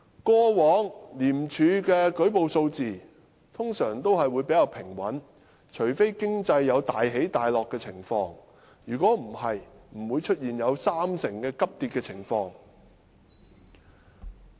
過往廉署的舉報數字通常比較平穩，除非經濟有大起大落的情況，否則不會出現有三成急跌的情況。